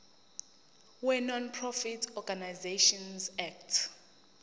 wenonprofit organisations act